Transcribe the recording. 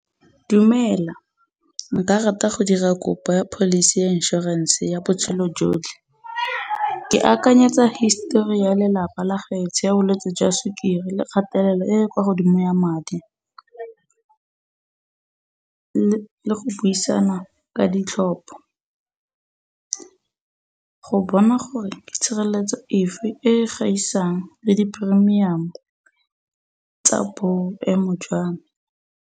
Dumela, nka rata go dira kopa pholisi ya inšorense ya botshelo jotlhe. Ke akanyetsa histori ya lelapa la gaetsho ya bolwetsi jwa sukiri le kgatelelo e kwa godimo ya madi. Le go buisana ka ditlhopho go bona gore tshireletso efe e gaisang le di-premium-o tsa boemo jwa me.